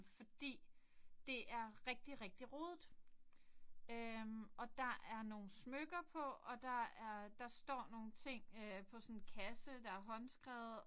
Fordi det er rigtig rigtig rodet øh og der er nogle smykker på og der er der står nogle ting øh på sådan en kasse der er håndskrevet